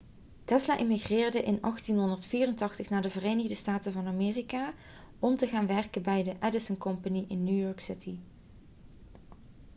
tesla emigreerde in 1884 naar de verenigde staten van amerika om te gaan werken bij de edison company in new york city